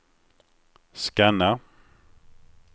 scanna